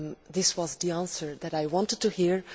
this was the answer that I wanted to hear.